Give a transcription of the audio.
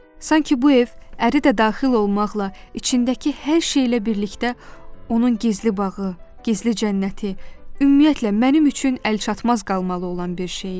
Sanki bu ev, əri də daxil olmaqla, içindəki hər şeylə birlikdə onun gizli bağı, gizli cənnəti, ümumiyyətlə mənim üçün əlçatmaz qalmalı olan bir şey idi.